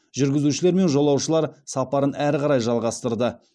жүргізушілер мен жолаушылар сапарын әрі қарай жалғастырды